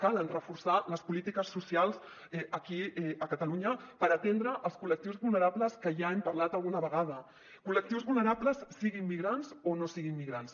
cal reforçar les polítiques socials aquí a catalunya per atendre els col·lectius vulnerables que ja hem parlat alguna vegada col·lectius vulnerables siguin migrants o no siguin migrants